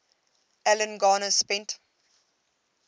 alan garner spent